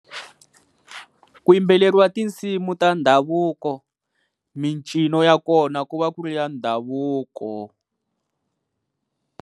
Ku yimbeleriwa tinsimu ta ndhavuko, mincino ya kona ku va ku ri ya ndhavuko.